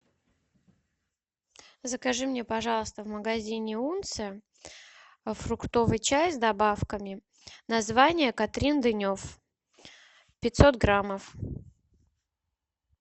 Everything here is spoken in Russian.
закажи мне пожалуйста в магазине унция фруктовый чай с добавками название катрин денев пятьсот граммов